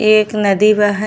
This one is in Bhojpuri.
इ एक नदी बा है।